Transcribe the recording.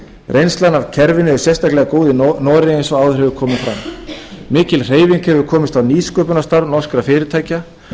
reynslan af kerfinu er sérstaklega góð í noregi eins og áður hefur komið fram mikil hreyfing hefur komist á nýsköpunarstarf norskra fyrirtækja